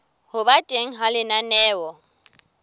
ho ba teng ha lenaneo